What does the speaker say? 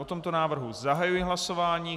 O tomto návrhu zahajuji hlasování.